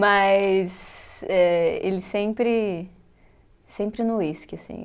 Mas, eh, ele sempre, sempre no uísque, assim.